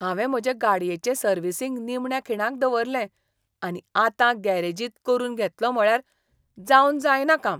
हांवें म्हजे गाडयेचें सर्विसिंग निमण्या खिणाक दवरलें, आनी आतां गॅरेजींत करून घेतलों म्हळ्यार जावन जायना काम.